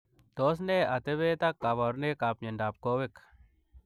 Tos nee atepeet ak kabarunoik ap miondoop koweek